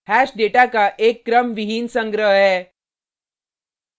hash data का एक क्रमविहीन संग्रह है